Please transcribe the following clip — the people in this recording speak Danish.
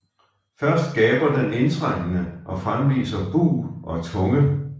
Først gaber den indtrængende og fremviser bug og tunge